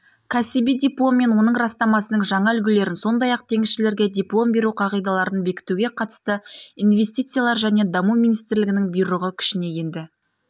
кәсіби диплом мен оның растамасының жаңа үлгілерін сондай-ақ теңізшілерге диплом беру қағидаларын бекітуге қатысты инвестициялар және даму министрінің бұйрығы күшіне енді